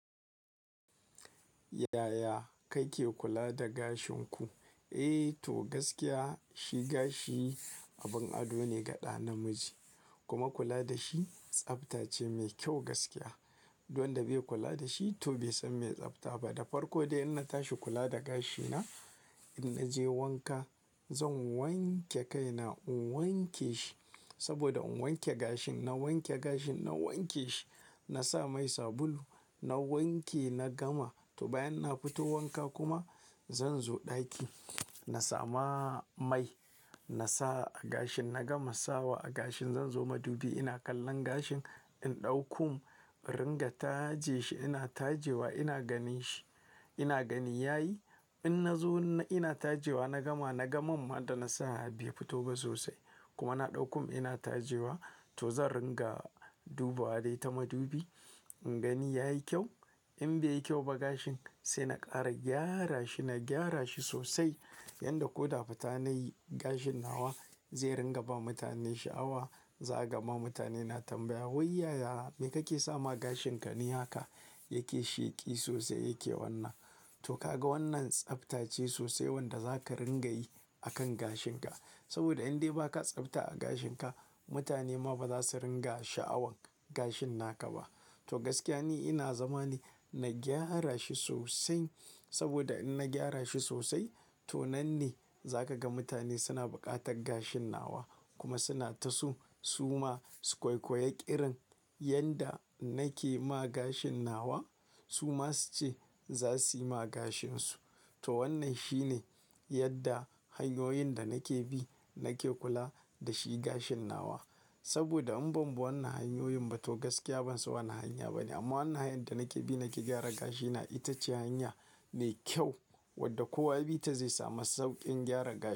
Yaya kake kula da gashin ku? Eh to gaskiya shi gashi abin ado ne ga ɗa namiji. Kuma kula da shi tsabta ce mai kyau gaskiya. Duk wanda bai kula da shi to bai san me tsabta ba. Da farko dai in na tashi kula da gashina, in naje wanka zan wanke kai na in wanke shi saboda in wanke gashin, na wanke gashin, na wanke shi. Na sa mai sabulu, na wanke, na gama. To bayan na fito wanka kuma zan zo ɗaki, na sama mai na sa a gashin, na gama sawa a gashin. Zan zo madubi ina kallon gashin in ɗau kum, ringa taje shi. Ina taje wa ina ganin shi, ina gani yayi. In na zo ina taje wa na gama, na ga man ma da na sa bai fito ba sosai. Kuma na ɗau kum ina taje wa to zan ringa dubawa dai ta madubi ingani yayi kyau. In bai yi kyau ba gashin sai na ƙara gyara shi, na gyara shi sosai yadda ko da fita nayi gashin nawa zai ringa ba mutane sha'awa. Za a gama mutane na tambaya "wai yaya me kake sama gashin ka ne haka yake sheki sosai yake wannan?" To ka ga wannan tsabta ce sosai wanda zaka ringa yi akan gashin ka. Saboda in dai ba ka tsabta a gashin ka, mutane ma ba za su ringa sha'awan gashin naka ba. To gaskiya ni ina zama ne na gyara shi sosai saboda in na gyara shi sosai to nan ne zaka ga mutane suna buƙatar gashin nawa kuma suna ta so su ma su koikoyi ƙirin yanda nake ma gashin nawa su ma su ce za su yi ma gashin su. To wannan shi ne yadda hanyoyin da nake bi nake kula da shi gashin nawa. Saboda in ban bi wannan hanyoyin ba to gaskiya ban san wani hanya ba ne. Amma wannan hanyar da nake bi nake gyara gashina ita ce hanya mai kyau wadda kowa ya bi ta zai samu sauƙin gyaran gashi.